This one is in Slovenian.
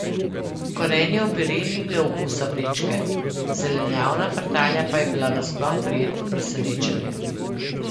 Korenjev pire ni imel okusa vrečke, zelenjavna frtalja pa je bila nasploh prijetno presenečenje.